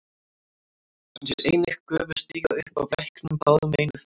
Hann sér einnig gufu stíga upp af læknum báðum megin við brúna.